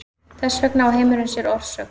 Þess vegna á heimurinn sér orsök.